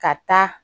Ka taa